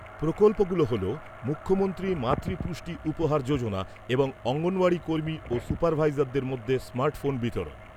প্রকল্পগুলো হল, মুখ্যমন্ত্রী মাতৃ পুষ্টি উপহার যোজনা এবং অঙ্গনওয়াড়ি কর্মী ও সুপারভাইজারদের মধ্যে স্মার্ট ফোন বিতরণ।